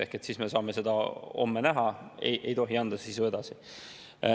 Ehk siis me saame seda homme näha, ei tohi anda sisu edasi.